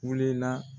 Wuli na